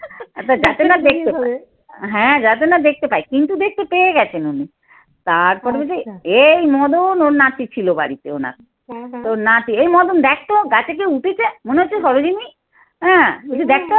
এবার যাতে না দেখতে পাই, হ্যাঁ যাতে না দেখতে পাই কিন্তু দেখতে পেয়ে গেছেন উনি তারপরে যদি এই মদন ওর নাতি ছিল বাড়িতে ওনার। ওর নাতি এই মদন দেখতো গাছে কি উঠেছে? মনে হচ্ছে সরোযিনি হ্যাঁ বলছে দেখ তো